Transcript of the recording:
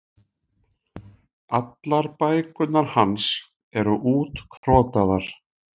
Allar bækurnar hans eru útkrotaðar.